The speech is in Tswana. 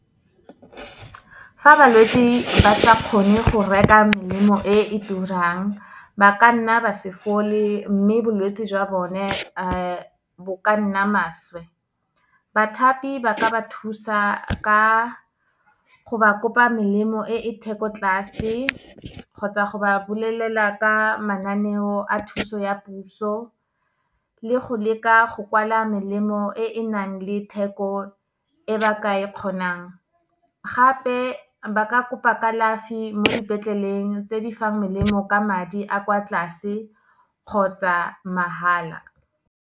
Fa balwetse ba sa kgone go reka melemo e e turang, ba ka nna ba se fole, mme bolwetse jwa bone bo ka nna maswe. Bathapi ba ka ba thusa, ka go ba kopa melemo e e thekotlase, kgotsa go ba bolelela ka mananeo a thuso ya puso, le go leka go kwala melemo e e nang le theko e ba ka e kgonang. Gape, ba ka kopa kalafi mo dipetleleng tse di fang melemo ka madi a kwa tlase kgotsa mahala.